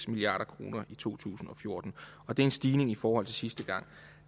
milliard kroner i to tusind og fjorten og det er en stigning i forhold til sidste gang